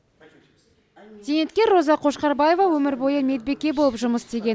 зейнеткер роза қошқарбаева өмір бойы медбике болып жұмыс істеген